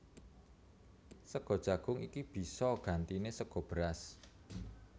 Sega jagung iki bisa gantiné sega beras